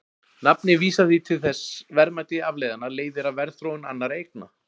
Nafnið vísar því til þess að verðmæti afleiðanna leiðir af verðþróun annarra eigna.